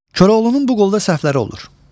Koroğlunun bu qolda səhvləri olur.